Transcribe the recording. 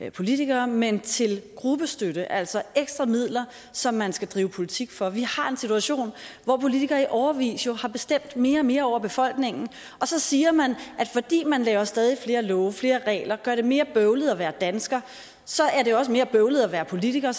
af politikere men til gruppestøtte altså ekstra midler som man skal drive politik for vi har en situation hvor politikere i årevis har bestemt mere og mere over befolkningen og så siger man at fordi man laver stadig flere love flere regler gør det mere bøvlet at være dansker så er det også mere bøvlet at være politiker